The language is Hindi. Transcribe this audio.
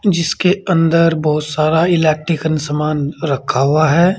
जिसके अंदर बहुत सारा इलेक्ट्रिकल सामान रखा हुआ है।